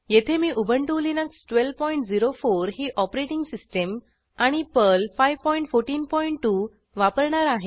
येथे मी Ubuntu Linux 1204 ही ऑपरेटिंग सिस्टीम आणि पर्ल 5142 वापरणार आहे